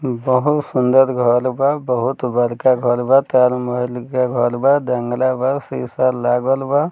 बहुत सुंदर घर बा बहुत बड़का घर बा ताज महल के घर बा जंगला बा शीशा लागल बा।